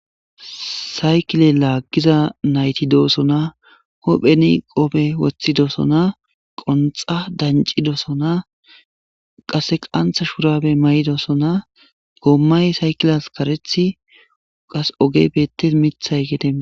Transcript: Saykile lagiza nayti dosona hupheni qophe wotidosona qunxa danc'idosona qase qanta shurabe maydosona gomay saykiliyas karethi qasi ogey betes mithay geden dees.